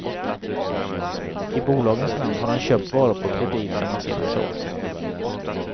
I bolagens namn har han köpt varor på kredit som han sedan sålt.